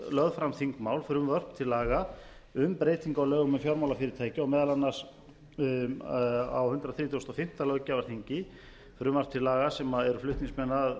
lögð fram frumvörp til laga um breytingu á lögum um fjármálafyrirtæki og meðal annars á hundrað þrítugasta og fimmta löggjafarþingi frumvarp til laga sem eru flutningsmenn að